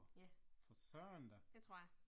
Ja, det tror jeg